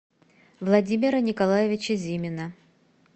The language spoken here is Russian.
владимира николаевича зимина